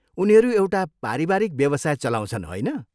उनीहरू एउटा पारिवारिक व्यावसाय चलाउँछन्, होइन?